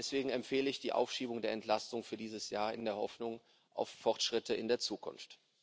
Deswegen empfehle ich die Aufschiebung der Entlastung für dieses Jahr in der Hoffnung auf Fortschritte in der Zukunft.